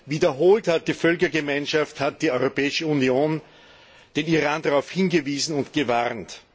Wiederholt hat die Völkergemeinschaft, hat die Europäische Union den Iran darauf hingewiesen und gewarnt.